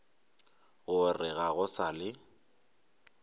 gore ga go sa le